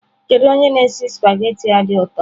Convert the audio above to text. Kedu onye na-esi spaghetị a dị ụtọ?